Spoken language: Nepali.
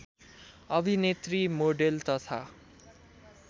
अभिनेत्री मोडेल तथा